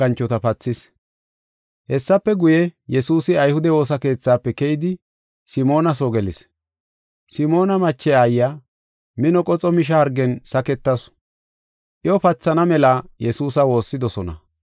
Hessafe guye, Yesuusi ayhude woosa keethafe keyidi Simoona soo gelis. Simoona mache aayiya mino qoxo misha hargen saketasu. Iyo pathana mela Yesuusa woossidosona.